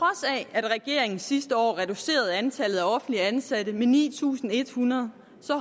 at regeringen sidste år reducerede antallet af offentligt ansatte med ni tusind en hundrede